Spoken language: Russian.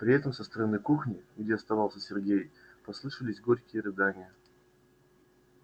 при этом со стороны кухни где оставался сергей послышались горькие рыдания